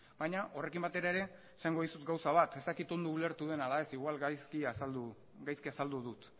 baina horrekin batera ere esango dizut gauza bat ez dakit ondo ulertu den ala ez agian gaizki azaldu dut